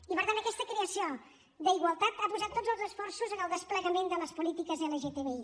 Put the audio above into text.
i per tant aquesta creació d’igualtat ha posat tots els esforços en el desplegament de les polítiques lgtbi